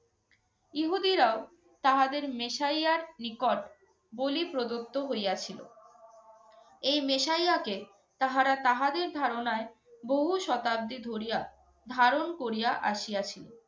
ইহুদিরাও তাহাদের মেসাইয়ার নিকট বলি প্রদত্ত হইয়াছিল। এই মেসাইয়াকে তাহারা তাহাদের ধারণায়, বহু শতাব্দী ধরিয়া ধারণ করিয়া আসিয়াছিল।